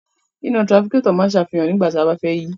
Iná tirafikétọ̀ ń sàfihàn nígbà tí a bá fẹ́ yí.